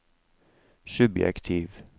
subjektiv